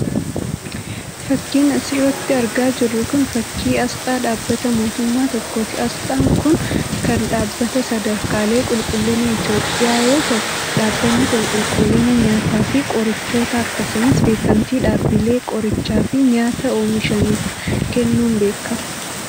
Fakkiin as irratti argaa jirru kun, fakkii asxaa dhaabbata mootummaa tokkooti. Asxaan kun ,kan dhaabbata Sadarkaalee Qulqullinaa Itoophiyaa yoo ta'u, dhaabbanni kun qulqullina nyaataa fi qorichootaa akkasumas beekamtii dhaabbilee qorichaa fi nyaata oomishaniif kennuun beekama.